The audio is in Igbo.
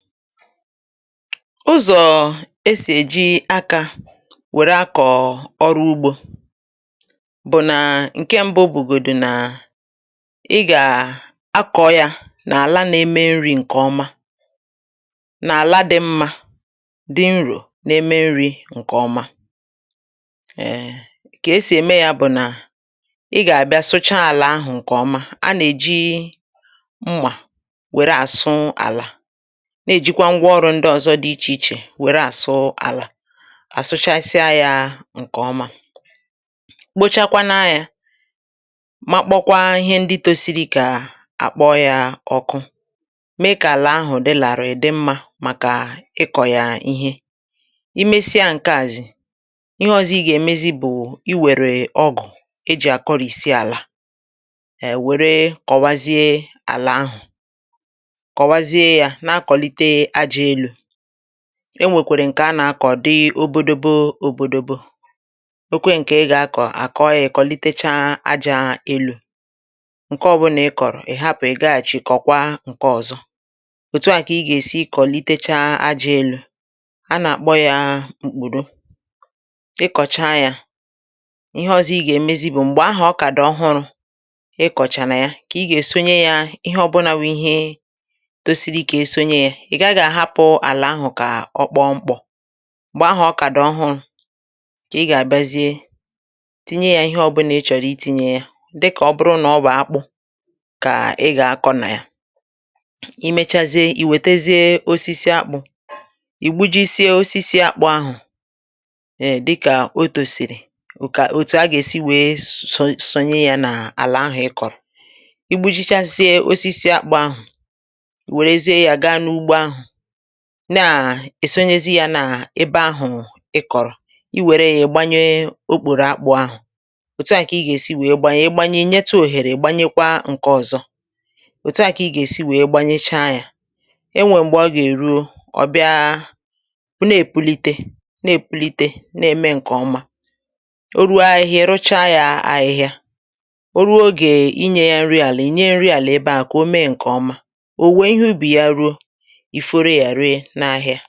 Uzọ̀ esì èji akȧ wère akọ̀ ọrụ ugbȯ, bụ̀ nà ǹke ṁbụ̇ obùgòdù nà, ị gà à akọ̇ yȧ n’àla na-eme nri̇ ǹkè ọma n’àla dị̇ mmȧ dị̇ nrò n’eme nri̇ ǹkè ọma. Kà esì ème yȧ bụ̀ nà ị gà àbịa sucha àlà ahụ̀ ǹkè ọma, a nà-èji mma wère àsụ àlà, na-ejikwa ngwa ọrụ ndị ọzọ dị iche iche were asụ ala, àsụchaisịa yȧ ǹkè ọma, kpochakwa na yȧ makpokwa ihe ndi tosiri kà àkpọ yȧ ọkụ, mee kà àlà ahụ̀ dị làrii dị mmȧ màkà ịkọ̀ yà ihe. ị mesịa ǹkeazi, ihe ọ̀zọ ị gà-èmezi bụ̀ i wère ọgụ̀ e jì akọrị̀sị àlà è wère kọwazie àlà ahụ̀, kowazie ya, na-akonite àjà ẹnu, enwèkwèrè ǹkẹ anà-akọ̀ odị obodobo òbòdòbo, nwekwe ǹkẹ ị gà-akọ̀ àkọọ yȧ ị̀ kọlitecha aja elu̇, ǹke ọbụrụ nà ị kọ̀rọ̀ ị̀ hapụ̀ ị gaghị̇chi kọ̀kwa ǹkẹ ọ̀zọ, òtu a kà ị gà-èsi kọ̀litecha aja elu̇ anà-àkpọ yȧ m̀kpùrù. Ị kọ̀cha yȧ, ihe ọzọ ị gà-ẹmẹzị bụ̀ m̀gbè ahu ọ kà dị̀ ọhụrụ̇ ị kọ̀chàrà ya kà ị gà-èsonye yȧ ihe ọbụnà bu ihe tosiri ka esonye ya, ị gaghị ahapụ ala ahụ ka ọkpọ mkpọ. Mgbe ahụ ọ kà dị ọhụrụ ka ị gà-àbịazie tinye yȧ ihe ọbụlà ị chọ̀rọ̀ itinye ya dịkà ọ bụrụ nà ọ bụ̀ akpụ̇ kà ị gà-akọ̇ nà ya, i mechazie ì wètezie osisi akpụ̇, ì gbujisie osisi àkpụ̇ ahụ̀ dịkà otòsìrì bụ kà òtù a gà-èsi wèe sonyé sonye yȧ n’àlà ahụ, ị kọ̀rọ̀, i gbu̇jichasie osisi àkpụ̇ ahụ̀, ị wèrezịe ya ga n'ụgbọ ahụ na-èsonye ya na ebe ahụ̀ ị kọ̀rọ̀, i wère ya ịgbanye okpòrò akpụ̇ ahụ̀ òtu à kà ị gà-èsi wèe gbanye ị gbanye inyeta òhèrè ị̀gbanyekwa ǹke ọ̀zọ, òtu à kà ị gà-èsi wèe gbanyecha ya, enwè m̀gbè ọ gà-èruo, ọ bịa bụ̀ na-èpulite na-èpulite na-ème ǹkè ọma, o ruo ahịhịa ị rụcha ya ahịhịa, o ruo ogè inye ya nri àlị̀ enye nri àlị̀ ebe à kà o mee ǹkè ọma, ò wuwe ihe ubì ya ruo, ị foro ya rie na